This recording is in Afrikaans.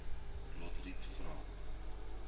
lotriet vra